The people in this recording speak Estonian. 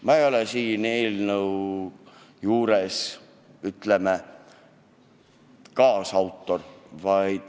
Ma ei ole selle eelnõu puhul, ütleme, kaasautor.